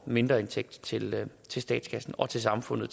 mindre indtægt til til statskassen og til samfundet